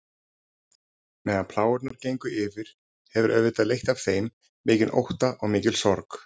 Meðan plágurnar gengu yfir hefur auðvitað leitt af þeim mikinn ótta og mikla sorg.